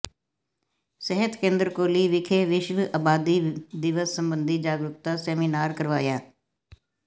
ਸਿਹਤ ਕੇਂਦਰ ਕੌਲੀ ਵਿਖੇ ਵਿਸ਼ਵ ਆਬਾਦੀ ਦਿਵਸ ਸਬੰਧੀ ਜਾਗਰੂਕਤਾ ਸੈਮੀਨਾਰ ਕਰਵਾਇਆ